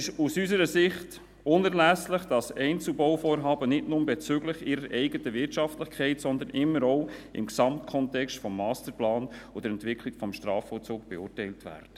Aus unserer Sicht ist es unerlässlich, dass Einzelbauvorhaben nicht nur bezüglich ihrer eigenen Wirtschaftlichkeit, sondern immer auch im Gesamtkontext des Masterplans und der Entwicklung des Strafvollzugs beurteilt werden.